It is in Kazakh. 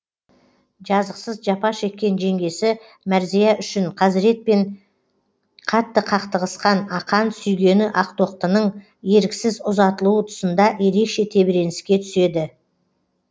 жазықсыз жапа шеккен жеңгесі мәрзия үшін қазіретпен қатты қақтығысқан ақан сүйгені ақтоқтының еріксіз ұзатылуы тұсында ерекше тебіреніске түседі